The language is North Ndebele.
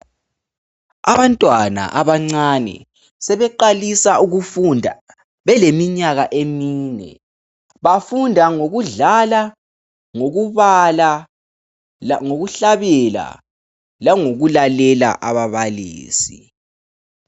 Abantwana abancane sebeqalisa ukufunda beleminyaka emine bafunda ngokudlala ngokubala ngokuhlabela langokulalela ababalisi.